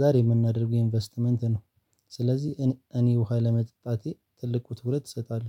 ዛሬ የምናደርገው ኢንቨስትመንት ነው ስለዚህ እኔ ውሃ ለመጠጣቴ ትልቅ ትኩረት እሰጣለሁ።